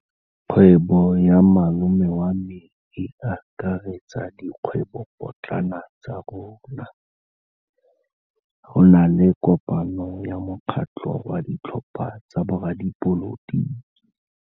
Kgwêbô ya malome wa me e akaretsa dikgwêbôpotlana tsa rona. Go na le kopanô ya mokgatlhô wa ditlhopha tsa boradipolotiki.